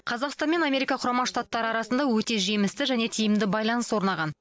қазақстан мен америка құрама штаттары арасында өте жемісті және тиімді байланыс орнаған